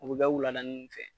O be kɛ wuladani nunnu fɛ